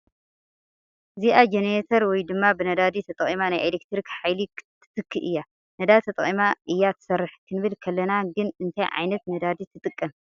እዚኣ ጀነሬተር ወይ ድማ ብነዳዲ ተጠቒማ ናይ ኢሌክትሪክ ሓይሊ ትትክእ እያ ፡ ነዳዲ ተጠቒማ እያ ትሰርሕ ክንብል ከለና ግን እንታይ ዓይነት ነዳዲ ትጥቐም ?